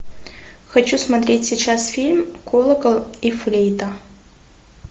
хочу смотреть сейчас фильм колокол и флейта